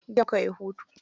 Jiya mukayi hutu.